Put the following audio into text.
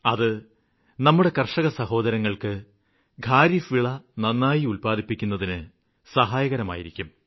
അത് നമ്മുടെ കര്ഷകസഹോദരങ്ങള്ക്ക് ഖാരിഫ് വിള നന്നായി ഉത്പാദിപ്പിക്കുന്നതിന് സഹായകരമായിരിക്കും